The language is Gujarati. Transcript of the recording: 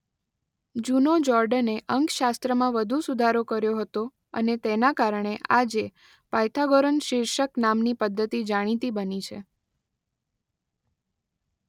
જૂનો જોર્ડને અંકશાસ્ત્રમાં વધુ સુધારો કર્યો હતો અને તેના કારણે આજે પાયથાગોરન શિર્ષક નામની પદ્ધતિ જાણીતી બની છે.